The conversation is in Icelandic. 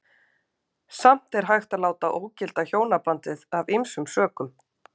Samt er hægt að láta ógilda hjónabandið af ýmsum sökum.